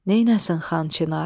Nəynəsin Xan Çinar?